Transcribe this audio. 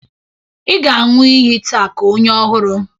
Ị ga-aṅụ iyi taa ka onye ọhụrụ